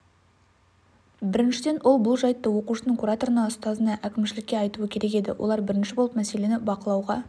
біріншіден ол бұл жайтты оқушының кураторына ұстазына әкімшілікке айтуы керек еді олар бірінші болып мәселені бақылауға